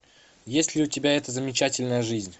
есть ли у тебя эта замечательная жизнь